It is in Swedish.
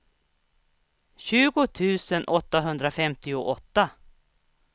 tjugo tusen åttahundrafemtioåtta